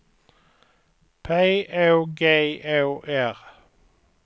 P Å G Å R